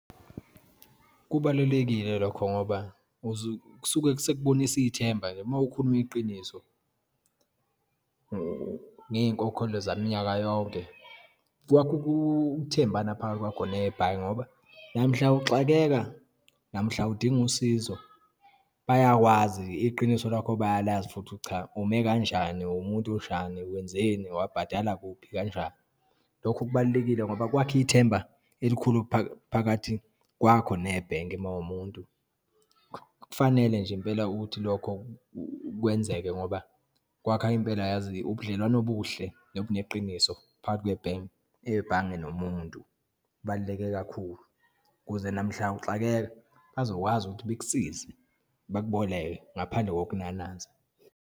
Kubalulekile lokho ngoba uze, kusuke sikubonisa ithemba-ke uma ukhuluma iqiniso ngeyinkokhelo zaminyaka yonke kwakha ukuthembana phakathi kwakho nebhange ngoba namhla uxakeka, namhla udinga usizo, bayakwazi, iqiniso lakho bayalazi futhi, cha, ume kanjani uwumuntu onjani, wenzeni, wabhadala kuphi kanjani. Lokho kubalulekile ngoba kwakha ithemba elikhulu phakathi kwakho nebhenki uma uwumuntu. Kufanele nje impela ukuthi lokho kwenzeke ngoba kwakha impela, yazi ubudlelwano obuhle nobuneqiniso phakathi kwe nebhange nomuntu. Kubaluleke kakhulu ukuze namhla uxakeka bazokwazi ukuthi bekusize bakuboleke ngaphandle kokunanaza.